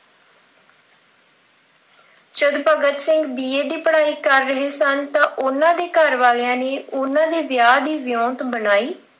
ਜਦ Bhagat Singh B. A. ਦੀ ਪੜ੍ਹਾਈ ਕਰ ਰਹੇ ਸਨ। ਤਾਂ ਉਹਨਾਂ ਦੇ ਘਰ ਵਾਲਿਆਂ ਨੇ ਉਹਨਾਂ ਦੇ ਵਿਆਹ ਦੀ ਗੱਲ ਚਲਾਈ।